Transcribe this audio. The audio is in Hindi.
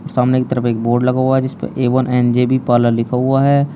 सामने की तरफ एक बोर्ड लगा हुआ है जिस पर A one N J B parlour लिखा हुआ है।